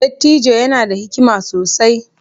Dattijo yana da hikima sosai